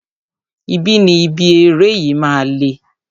Ibi ni ibi eré yìí máa le.